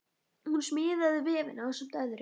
Hún smíðaði vefinn ásamt öðrum.